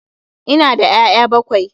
Ina da 'ya'ya bakwai